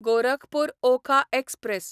Gorakhpur Okha express